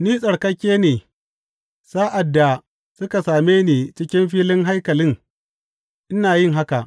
Ni tsarkake ne sa’ad da suka same ni cikin filin haikalin ina yin haka.